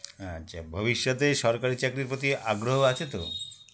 আচ্ছা ভবিষ্যতে সরকারি চাকরির প্রতি আগ্রহ আছে তো